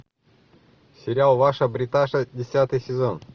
сериал ваша бриташа десятый сезон